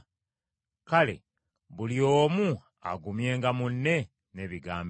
Kale buli omu agumyenga munne n’ebigambo ebyo.